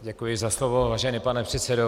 Děkuji za slovo, vážený pane předsedo.